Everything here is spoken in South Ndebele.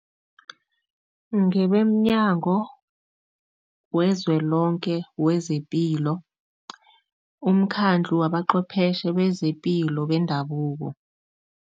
NgebemNyango wezwe lonke wezePilo, umkhandlu wabaqhwepheshe bezepilo bendabuko.